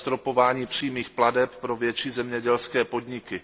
zastropování přímých plateb pro větší zemědělské podniky.